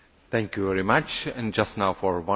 Herr Präsident, geschätzte Frau Kommissarin!